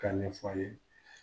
K'a ɲɛfɔ a' ye